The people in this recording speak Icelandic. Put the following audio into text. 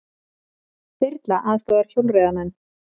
Þyrla aðstoðar hjólreiðamenn